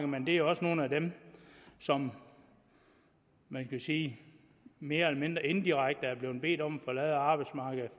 men det er jo også nogle af dem som man kan sige mere eller mindre indirekte er blevet bedt om at forlade arbejdsmarkedet